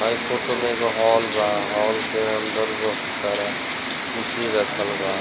हय फोटो में एगो हॉल बा हॉल के अंदर बहुत सारा कुर्सी रखल बा।